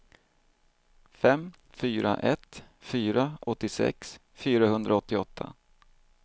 fem fyra ett fyra åttiosex fyrahundraåttioåtta